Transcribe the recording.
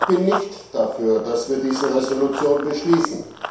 Ich bin nicht dafür, dass wir diese Resolution beschließen.